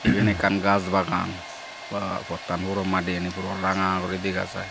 eyan ekkan gas bagan ba pottan puro madegani puro ranga guri dega jai.